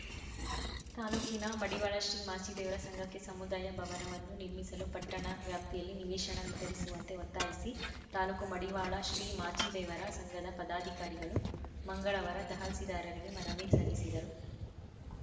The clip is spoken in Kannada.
ತಾಲೂಕಿನ ಮಡಿವಾಳ ಶ್ರೀ ಮಾಚಿದೇವರ ಸಂಘಕ್ಕೆ ಸಮುದಾಯ ಭವನವನ್ನು ನಿರ್ಮಿಸಲು ಪಟ್ಟಣ ವ್ಯಾಪ್ತಿಯಲ್ಲಿ ನಿವೇಶನ ವಿತರಿಸುವಂತೆ ಒತ್ತಾಯಿಸಿ ತಾಲೂಕು ಮಡಿವಾಳ ಶ್ರೀ ಮಾಚಿದೇವರ ಸಂಘದ ಪದಾಧಿಕಾರಿಗಳು ಮಂಗಳವಾರ ತಹಸೀಲ್ದಾರರಿಗೆ ಮನವಿ ಸಲ್ಲಿಸಿದರು